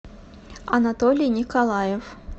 анатолий николаев